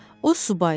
O subay idi.